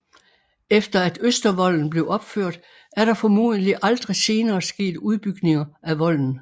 Efter at Østervolden blev opført er der formodentlig aldrig senere sket udbygninger af volden